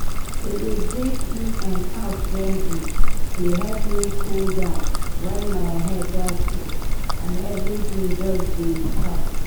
to dey breathe in and out gently dey help me cool down when my head don full and everything just dey choke.